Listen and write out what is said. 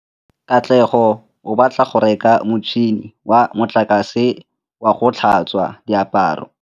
Katlego o batla go reka motšhine wa motlakase wa go tlhatswa diaparo.